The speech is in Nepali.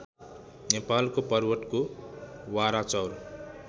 नेपालको पर्वतको वराचौर